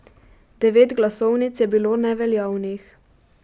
Devet glasovnic je bilo neveljavnih.